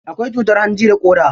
Akwai cutar hanji da ƙoda.